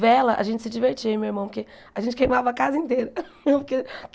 Vela, a gente se divertia, eu e meu irmão, porque a gente queimava a casa inteira.